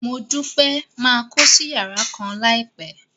Modupe máa kósí yàrá kan láìpẹ́.